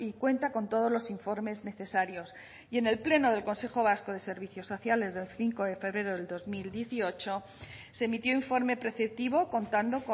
cuenta con todos los informes necesarios y en el pleno del consejo vasco de servicios sociales del cinco de febrero del dos mil dieciocho se emitió informe preceptivo contando